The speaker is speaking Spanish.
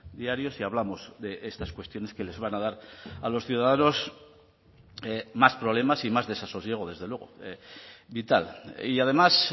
diarios y hablamos de estas cuestiones que les van a dar a los ciudadanos más problemas y más desasosiego desde luego vital y además